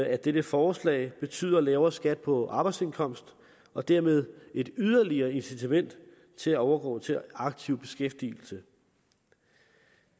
af dette forslag betyder lavere skat på arbejdsindkomst og dermed et yderligere incitament til at overgå til aktiv beskæftigelse